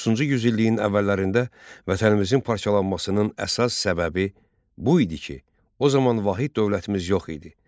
19-cu yüz illiyin əvvəllərində vətənimizin parçalanmasının əsas səbəbi bu idi ki, o zaman vahid dövlətimiz yox idi.